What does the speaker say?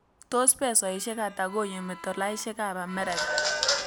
Tos' pesoisiek ata koyumi tolaisiekap amerika